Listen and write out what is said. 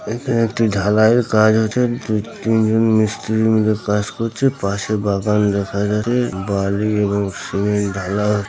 এখানে একটি ঢালাই এর কাজ আছে দু তিনজন মিস্ত্রি মিলে কাজ করছে পাশে বাগান দেখা যাবে বালি এবং সিমেন্ট ঢালা হো--